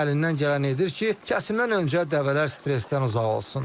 "əlindən gələni edir ki, kəsimdən öncə dəvələr stressdən uzaq olsun."